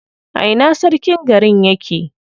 A ina sarkin garin yake?